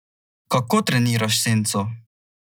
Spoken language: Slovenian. Kako treniraš senco?